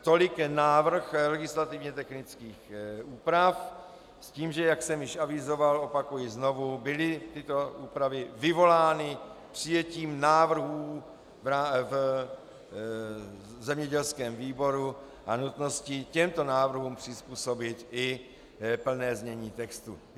Tolik návrh legislativně technických úprav s tím, že, jak jsem již avizoval, opakuji znovu, byly tyto úpravy vyvolány přijetím návrhů v zemědělském výboru a nutností těmto návrhům přizpůsobit i plné znění textu.